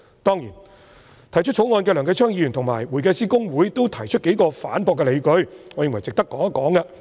當然，提出《條例草案》的梁繼昌議員及公會均提出數個反駁的理據，我認為值得談談。